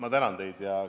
Ma tänan teid!